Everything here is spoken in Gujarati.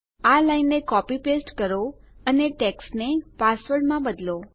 આ લાઈનને કોપી પેસ્ટ કરો અને ટેક્સ્ટ ને પાસવર્ડ માં બદલો